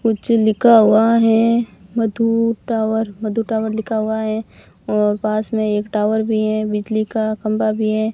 कुछ लिखा हुआ है मधु टावर मधु टावर लिखा हुआ है और पास में एक टावर भी है बिजली का खंबा भी है।